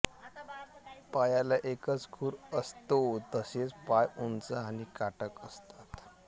पायाला एकच खुर असतो तसेच पाय उंच आणि काटक असतात